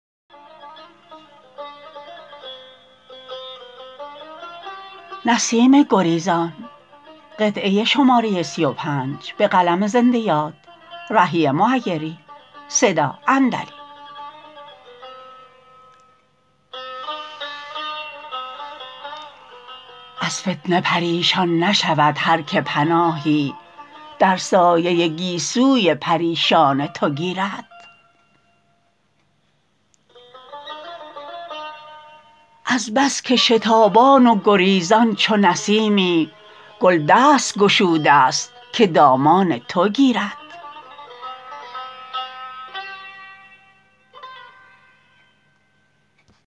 از فتنه پریشان نشود هر که پناهی در سایه گیسوی پریشان تو گیرد از بس که شتابان و گریزان چو نسیمی گل دست گشوده است که دامان تو گیرد